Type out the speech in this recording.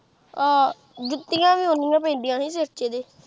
ਅਹ ਜੁੱਤੀਆਂ ਵੀ ਉੱਨੀਆ ਪੈਂਦੀਆ ਸੀ ਸਿਰ ਚ ਇਦੇ।